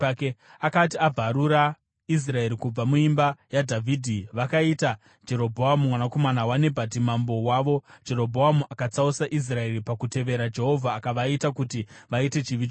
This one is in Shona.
Akati abvarura Israeri kubva muimba yaDhavhidhi, vakaita Jerobhoamu mwanakomana waNebhati mambo wavo. Jerobhoamu akatsausa Israeri pakutevera Jehovha akavaita kuti vaite chivi chikuru.